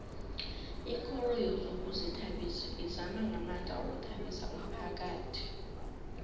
ikoro yezokuzithabisa izama ngamandla ukuthabisa umphakhathi